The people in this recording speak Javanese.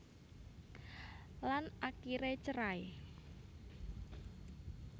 Lan akiré cerai